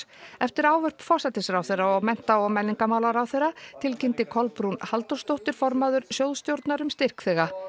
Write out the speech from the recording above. eftir ávörp forsætisráðherra og mennta og menningarmálaráðherra tilkynnti Kolbrún Halldórsdóttir formaður sjóðsstjórnar um styrkþega